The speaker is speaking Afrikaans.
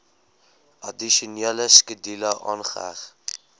addisionele skedule aangeheg